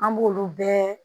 An b'olu bɛɛ